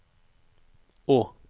å